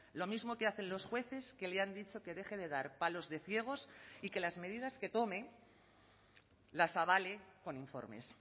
lo mismo que hacen los jueces que le han dicho que deje de dar palos de ciegos y que las medidas que tome las avale con informes